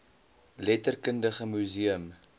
letterkundige mu seum